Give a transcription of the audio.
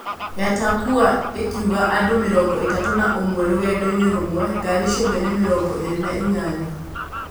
Yatakua ĩkuuaga andũ mĩrongo ĩtatũ na ũmwe rũgendo-inĩ rũmwe, ngari ciothe nĩ mĩrongo ĩĩrĩ na inyanya.